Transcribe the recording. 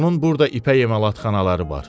Onun burda ipək emalatxanaları var.